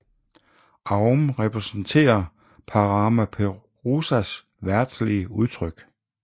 Aum repræsenterer Parama Puruśas verdslige udtryk